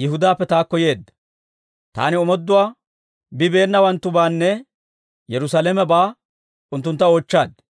Yihudaappe taakko yeedda; taani omooduwaa bibeenawanttubaanne Yerusaalamebaa unttuntta oochchaad.